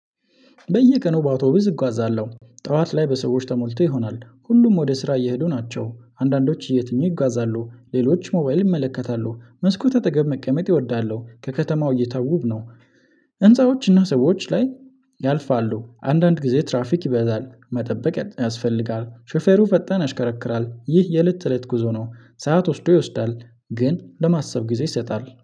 በየቀኑ በአውቶብስ እጓዛለሁ ጠዋት ላይ በሰዎች ተሞልቶ ይሆናል ሁሉም ወደ ስራ እየሄዱ ናቸው አንዳንዶች እየተኙ ይጋዛሉ ሌሎች ሞባይል ይመለከታሉ መስኮት አጠገብ መቀመጥ ይወዳለሁ። ከከተማው እይታ ውብ ነው። ህንፃዎችና ሰዎች ላይ ያልፋሉ። አንዳንድ ጊዜ ትራፊክ ይበዛል መጠበቅ ያስፈልጋል። ሾፌሩ ፈጣን ያሽከረክራል ይህ የለት እለት ጉዞ ነው። ሰዓት ወስዶ ይወስዳል ግን ለማሰብ ጊዜ ይሰጣል